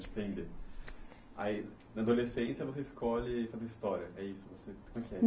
Na adolescência você escolhe fazer história, é isso? Você, como é que é